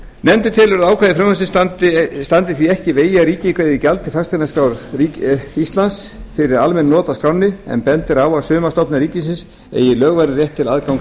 nefndin telur að ákvæði frumvarpsins standi því ekki í vegi að ríkið greiði gjald til fasteignaskrár íslands fyrir almenn not af skránni en bendir á að sumar stofnanir ríkisins eiga lögvarinn rétt til aðgangs